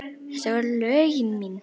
Þetta voru lögin mín.